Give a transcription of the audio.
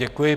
Děkuji.